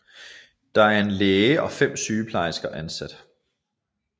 Der er en læge og fem sygeplejersker ansat